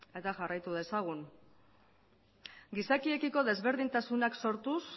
eta jarraitu dezagun gizakiekiko desberdintasunak sortuz